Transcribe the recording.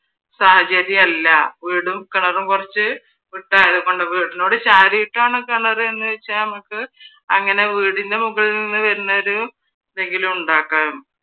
സാഹചര്യമല്ല. വീടും കിണറും കുറച്ച് വിട്ടാണ് വീടിനോട്‌ ചാരിയിട്ടാണ് കിണറ് എന്നുവച്ചാ നമക്ക് അങ്ങനെ വീടിൻ്റെ മുകളിൽ നിന്ന് വരുന്നൊരു എന്തെങ്കിലും ഉണ്ടാക്കാം.